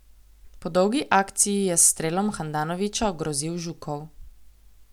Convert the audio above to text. Po dolgi akciji je s strelom Handanovića ogrozil Žukov.